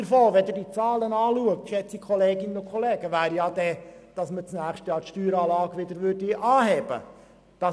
Angesichts der Zahlen wäre die Konsequenz, dass wir im nächsten Jahr die Steueranlage wieder anheben müssten.